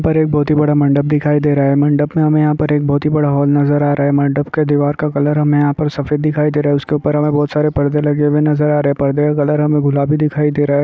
उधर एक बहुत ही बड़ा मंडप दिखाई दे रहा है मंडप में हमें यहां पर बहुत ही बड़ा हॉल नजर आ रहा है मंडप के दिवार का कलर हमें यहां पर सफेद दिखाई दे रहा है उसके ऊपर हमें बहुत सारे पर्दे लगे हुए नजर आ रहे है पर्दों का कलर हमें गुलाबी दिखाई दे रहा है।